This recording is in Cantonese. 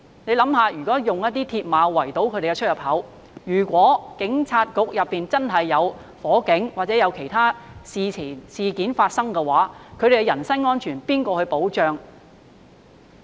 試想想，用鐵馬圍堵警察總部出入口，如果裏面發生火災或有其他事件發生的話，他們的人身安全誰來保障？